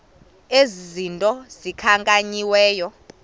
ezi zinto zikhankanyiweyo